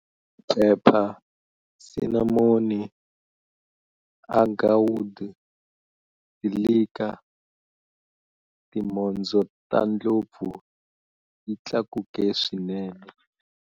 Phepha, sinamoni, agarwood, silika, timhondzo ta tindlopfu yi tlakuke swinene.